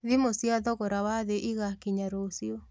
Thimũ cia thogora wa thĩ igakinya rũciũ